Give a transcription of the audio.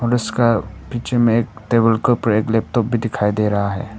और उसका पीछे में एक टेबल के ऊपर एक लैपटॉप भी दिखाई दे रहा हैं।